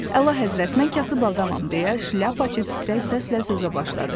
Əlahəzrət, mən kasıb adamam deyə şlyapaçı titrək səslə sözə başladı.